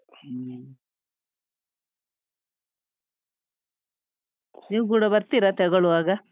ಹ್ಮ ನೀವು ಕೂಡ ಬರ್ತೀರಾ ತೆಗೊಳ್ಳುವಾಗ?